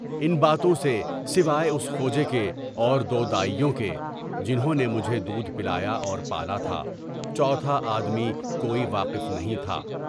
آدمان باتوں سے سوائے اُس خوج کے اور دودائیوں کے (جنھوں نے مجھے دودھ پلا کر پالا تھا) چوتھا آدمی کوئی واقف نہیں تھا۔